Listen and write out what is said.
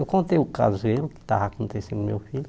Eu contei o caso a ele, o que estava acontecendo com o meu filho.